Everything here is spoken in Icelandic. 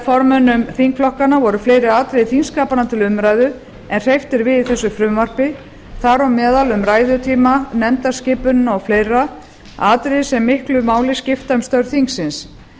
formönnum þingflokkanna voru fleiri atriði þingskapanna til umræðu en hreyft er við í þessu frumvarpi þar á meðal um ræðutíma nefndarskipunina og fleira atriði sem miklu máli skipta um störf þingsins